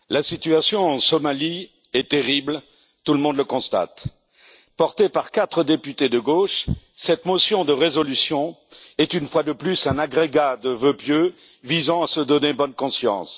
Monsieur le Président, la situation en Somalie est terrible, tout le monde le constate. Portée par quatre députés de gauche, cette motion de résolution est, une fois de plus, un agrégat de vœux pieux visant à se donner bonne conscience.